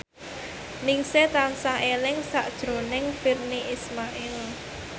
Ningsih tansah eling sakjroning Virnie Ismail